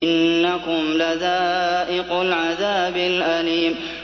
إِنَّكُمْ لَذَائِقُو الْعَذَابِ الْأَلِيمِ